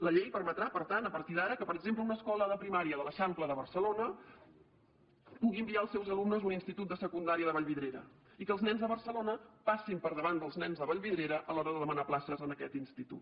la llei permetrà per tant a partir d’ara que per exemple una escola de primària de l’eixample de barcelona pugui enviar els seus alumnes a un institut de secundària de vallvidrera i que els nens de barcelona passin per davant dels nens de vallvidrera a l’hora de demanar places en aquest institut